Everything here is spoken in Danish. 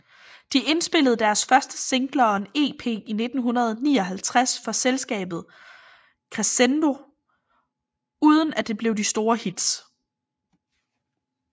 De indspillede deres første singler og en EP i 1959 for selskabet Crescendo uden at det blev de store hits